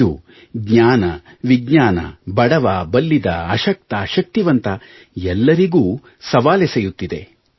ಇದು ಜ್ಞಾನ ವಿಜ್ಞಾನ ಬಡವ ಬಲ್ಲಿದ ಅಶಕ್ತ ಶಕ್ತಿವಂತ ಎಲ್ಲರಿಗೂ ಸವಾಲೆಸೆಯುತ್ತಿದೆ